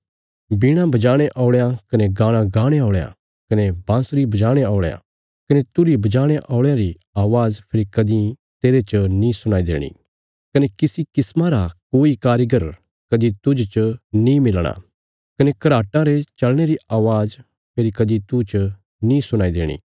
वीणा बजाणे औल़यां कने गाणा गाणे औल़यां कने बांसरी बजाणे औल़यां कने तुरही बजाणे औल़यां री अवाज़ फेरी कदीं तेरे च नीं सुणाई देणी कने किसी किस्मा रा कोई कारीगर कदीं तुज च नीं मिलणा कने घराटां रे चलने री अवाज़ फेरी कदीं तूह च नीं सुणाई देणी